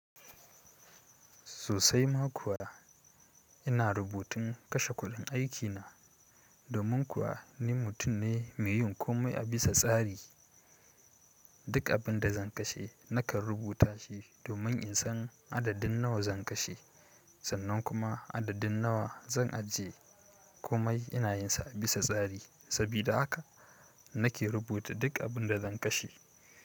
Sosai ma kuwa ina rubutun kashe kuɗin aikina, domin kuwa ni mutum ne mai yin komai a bisa tsari. Duk abin da zan kashe nakan rubuta shi domin in san adadin nawa zan kashe sannan kuma adadin nawa zan ajiye. Komai ina yin sa a bisa tsari, sabida haka nake rubuta duk abin da zan kashe.